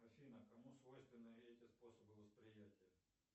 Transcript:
афина кому свойственны эти способы восприятия